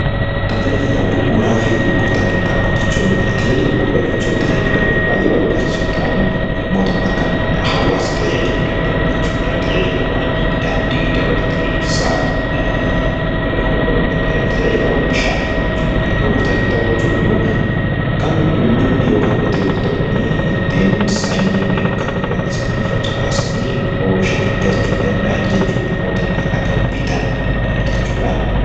Tajaajila bu'uuraa fi gurgurtaa qinxaaboo jechuun tajaajila bu'uuraa jechuun tajaajilawwan baay'ee barbaachisoo ta'an, mootummaa kan hawaasa tajaajiluu danda'u jechuudha. Tajaajilawwan daandii dabalatee, ibsaa, tajaajilawwan bishaanii fa'i jechuudha. Gurgurtaa qinxaaboo jechuun ammoo kan uummatni yookaan qotee bultoonni ittiin sanyii yookaan midhaan isaanii facaasanii, oomishanii galchuu danda'an jechuudha. Mootummaa irraa kan bitan jechuudha.